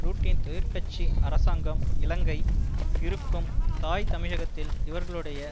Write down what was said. ரூட்டின் தொழிற்கட்சி அரசாங்கம் இலங்கை இருக்கும் தாய்த் தமிழகத்தில் இவர்களுடைய